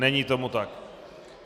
Není tomu tak.